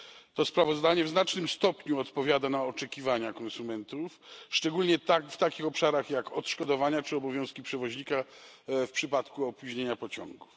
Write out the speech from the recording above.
To sprawozdanie w znacznym stopniu stanowi odpowiedź na oczekiwania konsumentów, szczególnie w takich obszarach jak odszkodowania czy obowiązki przewoźnika w przypadku opóźnienia pociągów.